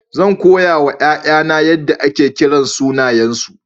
Zan koya wa 'ya'yana yadda ake kiran sunayensu.